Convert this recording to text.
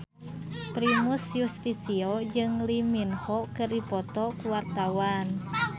Primus Yustisio jeung Lee Min Ho keur dipoto ku wartawan